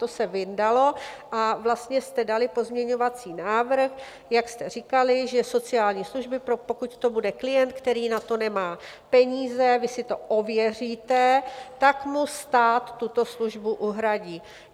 To se vyndalo a vlastně jste dali pozměňovací návrh, jak jste říkali, že sociální služby, pokud to bude klient, který na to nemá peníze, vy si to ověříte, tak mu stát tuto službu uhradí.